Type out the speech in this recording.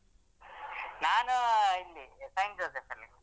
ನಾನು ಇಲ್ಲಿ St.joseph ಅಲ್ಲಿ.